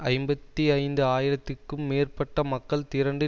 ஐம்பத்தி ஐந்து ஆயிரத்துக்கும் மேற்பட்ட மக்கள் திரண்டு